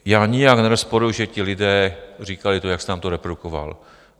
Já nijak nerozporuji, že ti lidé říkali to, jak jste nám to reprodukoval.